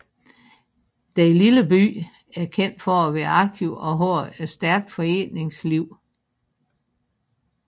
Den lille by er kendt for at være aktiv og har et stærkt foreningsliv